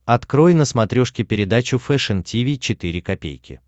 открой на смотрешке передачу фэшн ти ви четыре ка